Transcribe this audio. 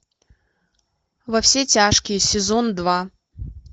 во все тяжкие сезон два